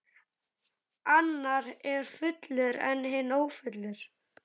Annar er fullur en hinn ófullur.